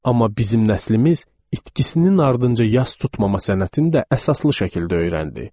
Amma bizim nəslimiz itkisinin ardınca yas tutmama sənətində əsaslı şəkildə öyrəndi.